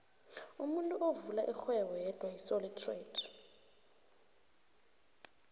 umuntu uvula ixhwebo yedwa yisoli trayida